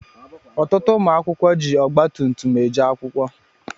Ọtụtụ ụmụ akwụkwọ jị Ọgba tum tum eje akwụkwọ.